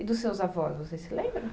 E dos seus avós, vocês se lembram?